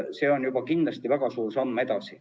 See on kindlasti juba väga suur samm edasi.